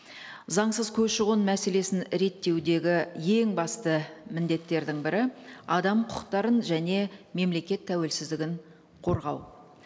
заңсыз көші қон мәселесін реттеудегі ең басты міндеттердің бірі адам құқықтарын және мемлекет тәуелсіздігін қорғау